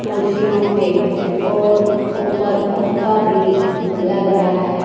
कुर्सियों पे और ऊपर पंखा भी लग रहा है।